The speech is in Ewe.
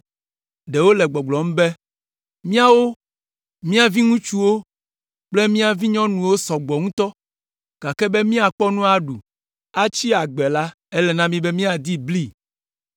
Ɖewo le gbɔgblɔm be, “Míawo, mía viŋutsuwo kple mía vinyɔnuwo sɔ gbɔ ŋutɔ, gake be míakpɔ nu aɖu, atsi agbe la, ele na mí be míadi bli.”